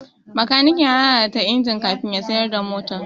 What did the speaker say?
Bakaniken ya lalata injin kafin ya siyar da motar.